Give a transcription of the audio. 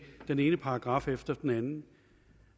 den ene paragraf efter den anden